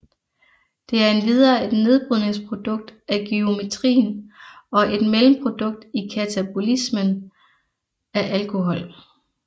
Det er endvidere et nedbrydningsprodukt af gyrometrin og et mellemprodukt i katabolismen af alkohol